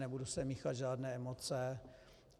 Nebudu sem míchat žádné emoce.